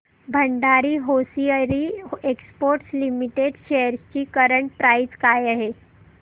Bhandari hosiery exports limited shares ची current price काय आहे